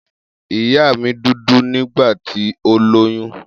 Iya mi dudu nigbati o loyun.